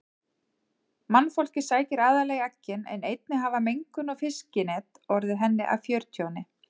Mannfólkið sækir aðallega í eggin en einnig hafa mengun og fiskinet orðið henni að fjörtjóni.